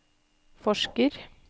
forsker